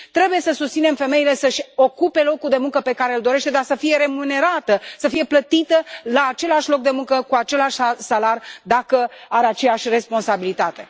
Trebuie să susținem femeia să și ocupe locul de muncă pe care îl dorește, dar să fie remunerată, să fie plătită la același loc de muncă cu același salariu dacă are aceeași responsabilitate.